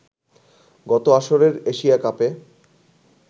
গত আসরের এশিয়া কাপে